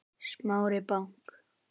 Smári bank